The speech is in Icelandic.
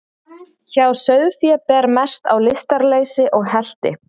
Hjá sauðfé ber mest á lystarleysi og helti.